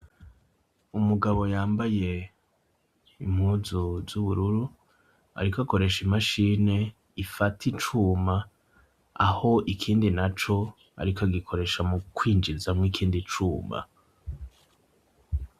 Umugabo yambaye impuzu z'ubururu ariko akoresha imashini ifata icuma, aho ikindi naco ariko agikoresha mu kwinjizamwo ikindi cuma.